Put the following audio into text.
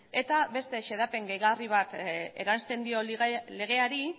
eta beste xedapen gehigarri bat eransten dio legeari